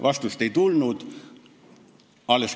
Vastust ei tulnud.